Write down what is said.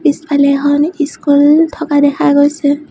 পিছফালে এখন স্কুল থকা দেখা গৈছে।